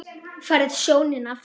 Færð sjónina aftur.